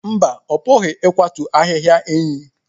Mba, ọ pụghị ịkwatu ahịhịa enyí.